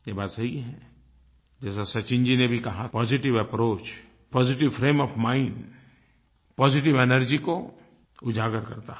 ये बात सही है जैसा सचिन जी ने भी कहा positive approach positive frame of mind positive energy को उजागर करता है